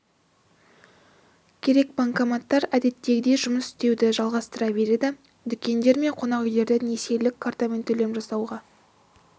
керек банкоматтар әдеттегідей жұмыс істеуді жалғастыра береді дүкендер мен қонақ үйлерде несиелік картамен төлем жасауға